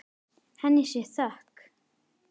Henni sé þökk.